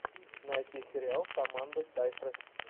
найти сериал с амандой сайфред